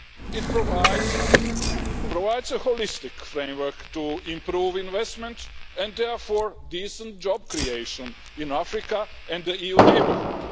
It provides a holistic framework to improve investment and therefore decent job creation in Africa and the EU neighbourhood.